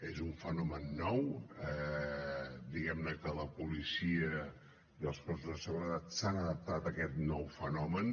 és un fenomen nou diguem ne que la policia i els cossos de seguretat s’han adaptat a aquest nou fenomen